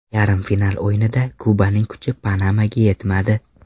Yarim final o‘yinida Kubaning kuchi Panamaga yetmadi.